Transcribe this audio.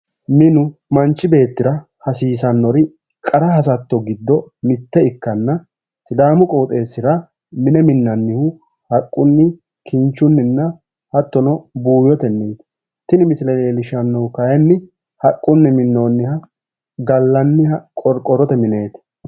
Minu manchi beettira hasiissanno qara hasatto giddo mitto ikkanna sidaamu qooxeessira mine minnannihu haqqunni kinchunni hattono buuyyotenniiti tini misile leellishshannohu kaayiinni haqqunni minoonniha qorqorrote mineeti